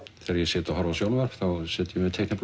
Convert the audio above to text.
þegar ég sit og horfi á sjónvarp sit ég með teikniblokk